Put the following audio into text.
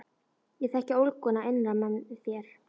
Ég þekki ólguna innra með þér.